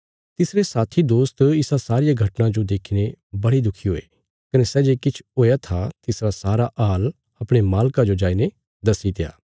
तिसरे साथी दोस्त इसा सारिया घटना जो देखीने बड़े दुखी हुये कने सै जे किछ हुया था तिसरा सारा हाल अपणे मालका जो जाईने दस्सीत्या